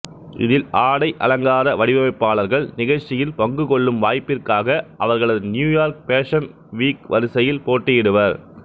இதில் ஆடை அலங்கார வடிவமைப்பாளர்கள் நிகழ்ச்சியில் பங்கு கொள்ளும் வாய்ப்பிற்காக அவர்களது நியூயார்க் பேஷன் வீக் வரிசையில் போட்டியிடுவர்